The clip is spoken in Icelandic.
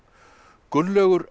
Gunnlaugur